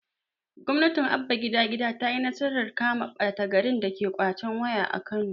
gwamnatin abba gida gida tayi nasarar kama ɓata garin dake ƙwacen waya a kano